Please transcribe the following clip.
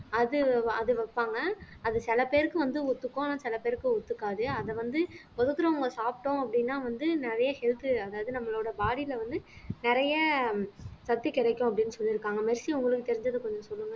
அது அது வைப்பாங்க அது சில பேருக்கு வந்து ஒத்துக்கும் ஆனா சில பேருக்கு ஒத்துக்காது அத வந்து ஒதுக்குறவங்க சாப்பிட்டோம் அப்படின்னா வந்து நிறைய health அதாவது நம்மளோட body ல வந்து நிறைய சக்தி கிடைக்கும் அப்படின்னு சொல்லிருக்காங்க மெர்சி உங்களுக்கு தெரிஞ்சதை கொஞ்சம் சொல்லுங்க